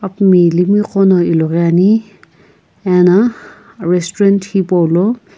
mi ilimi gho no light Ane ana restaurant hipou lo.